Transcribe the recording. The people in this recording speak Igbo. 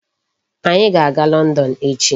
Anyị ga-aga London echi.